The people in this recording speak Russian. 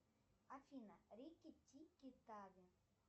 афина рики тики тави